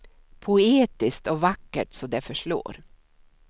Poetiskt och vackert så det förslår.